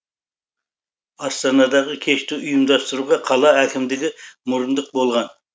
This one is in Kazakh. астанадағы кешті ұйымдастыруға қала әкімдігі мұрындық болған